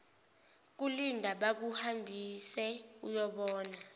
kulinda bakuhambise uyobona